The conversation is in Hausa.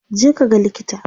je ka ga likita!